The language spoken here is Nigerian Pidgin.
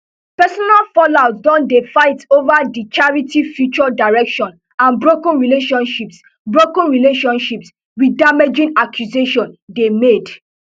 personal fallout don dey fight over di charity future direction and broken relationships broken relationships wit damaging accusations dey made